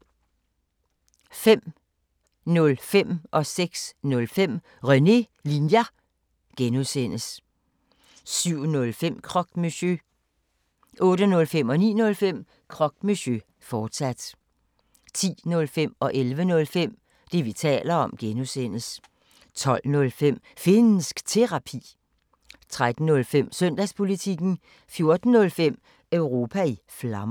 05:05: René Linjer (G) 06:05: René Linjer (G) 07:05: Croque Monsieur 08:05: Croque Monsieur, fortsat 09:05: Croque Monsieur, fortsat 10:05: Det, vi taler om (G) 11:05: Det, vi taler om (G) 12:05: Finnsk Terapi 13:05: Søndagspolitikken 14:05: Europa i Flammer